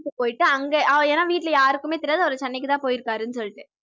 போயிட்டு அங்க ஏன்னா வீட்ல யாருக்குமே தெரியாது அவரு சென்னைக்கு தான் போயிருக்காருன்னு சொல்லிட்டு